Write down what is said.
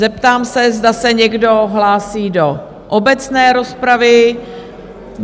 Zeptám se, zda se někdo hlásí do obecné rozpravy?